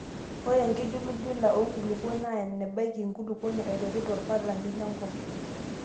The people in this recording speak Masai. Ore enkijulujula oo nkulukuok naa enebaiki enkulukuoni aiteru torpalani lenkop.